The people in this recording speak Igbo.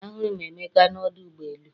Ahụrụ m Emeka n’ọdụ ụgbọ elu